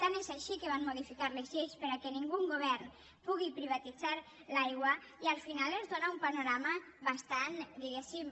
tant és així que van modificar les lleis perquè cap govern pugui privatitzar l’aigua i al final es dóna un panorama bastant diguéssim